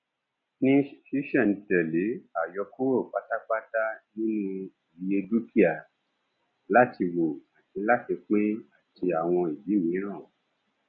ní sísèntèlè àyọkúrò pátápátá nínú iye dúkìá láti wò àti láti pín àti àwọn ìdí míràn